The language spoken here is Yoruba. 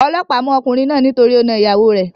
Olóòpá mú okùnrin náà nítorí o na ìyàwo rè